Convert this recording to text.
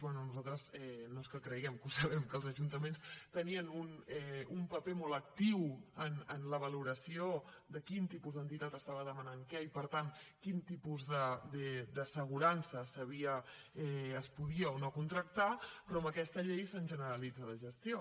bé nosaltres no és que creguem que ho sabem que els ajuntaments tenien un paper molt actiu en la valoració de quin tipus d’entitat estava demanant què i per tant quin tipus d’assegurança es podia o no contractar però amb aquesta llei se’ns generalitza la gestió